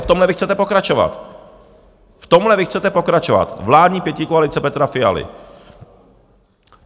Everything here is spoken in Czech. A v tomhle vy chcete pokračovat, v tomhle vy chcete pokračovat, vládní pětikoalice Petra Fialy.